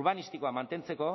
urbanistikoa mantentzeko